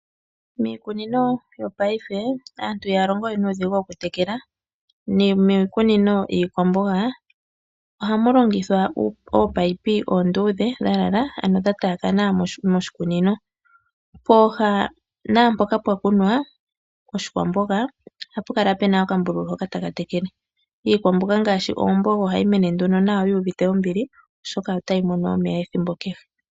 Miikunino yopaife aantu ihaya longo we nuudhigu okutekela. Nomiikunino yiikwamboga ohamu longithwa oopaipi oondudhe dhalala ano dha tayakana moshikunino. Pooha naampoka mpwa kunwa oshikwamboga ohapu kala puna okambululu hoka taka tekele. Iikwamboga ngaashi oomboga ohayi mene nduno nawa yuuvite ombili oshoka otayi mono omeya ethimbo kehe.